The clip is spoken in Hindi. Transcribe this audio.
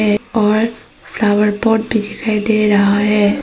है और फ्लावर पॉट भी दिखाई दे रहा है।